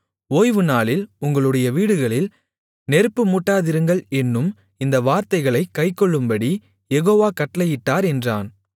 ஓய்வுநாளில் உங்களுடைய வீடுகளில் நெருப்பு மூட்டாதிருங்கள் என்னும் இந்த வார்த்தைகளைக் கைக்கொள்ளும்படி யெகோவா கட்டளையிட்டார் என்றான்